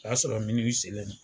O y'a sɔrɔ seen na.